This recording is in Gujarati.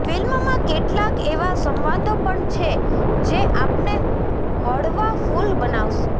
ફિલ્મમાં કેટલાંક એવા સંવાદો પણ છે જે આપને હળવાફુલ બનાવશે